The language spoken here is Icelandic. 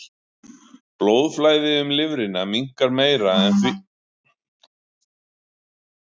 Blóðflæði um lifrina minnkar meira en sem því nemur.